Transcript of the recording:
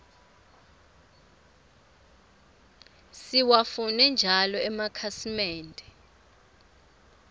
siwafune njalo emakhasimende